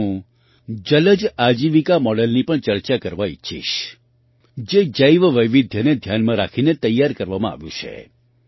અહીં હું જલજ આજીવિકા મૉડલની પણ ચર્ચા કરવા ઈચ્છીશ જે જૈવવૈવિધ્યને ધ્યાનમાં રાખીને તૈયાર કરવામાં આવ્યું છે